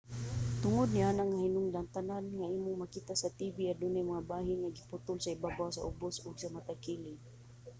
tungod niana nga hinungdan tanan nga imong makita sa tv adunay mga bahin nga giputol sa ibabaw sa ubos ug sa matag kilid